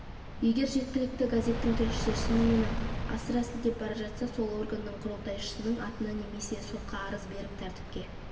егер жергілікті газеттің тілшісі шынымен-ақ асыра сілтеп бара жатса сол органның құрылтайшысының атына немес сотқа арыз беріп тәртіпке